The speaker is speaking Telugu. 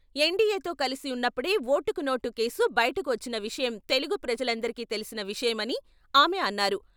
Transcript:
ఎన్డీయేతో కలిసి ఉన్నప్పుడే ఓటుకు నోటు కేసు బయటకు వచ్చిన విషయం తెలుగు ప్రజలందరికీ తెలిసిన విషయమని ఆమె అన్నారు.